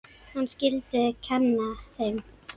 Hann skyldi kenna þeim.